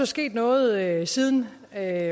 sket noget siden da